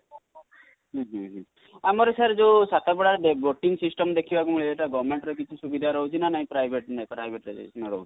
ହଁ ହଁ ଆମର sir ଜୋ ସାତପଡ଼ା boating system ଦେଖିବାକୁ ମିଳେ ଏଟା Government ର କିଛି ସୁବିଧା ରହୁଛି ନା ନାଇ private ରେ ରହୁଛି